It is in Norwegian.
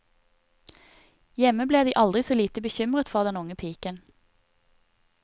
Hjemme ble de aldri så lite bekymret for den unge piken.